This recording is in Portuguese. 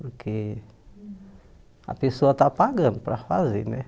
Porque a pessoa está pagando para fazer, né?